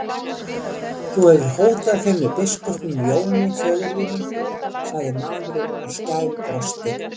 Þú hefur hótað þeim með biskupnum Jóni, föður þínum, sagði maðurinn og skælbrosti.